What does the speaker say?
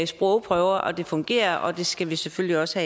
sprogprøver og at det fungerer det skal vi selvfølgelig også